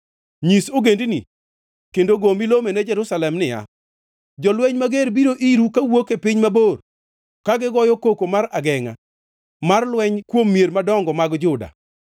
“Nyis ogendini kendo go milome ne Jerusalem niya, ‘Jolweny mager biro iru kawuok e piny mabor, ka gigoyo koko mar agengʼa mar lweny kuom mier madongo mag Juda.